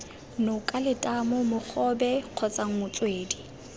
noka letamo mogobe kgotsa motswedi